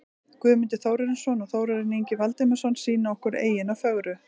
Guðmundur Þórarinsson og Þórarinn Ingi Valdimarsson sýna okkur eyjuna fögru.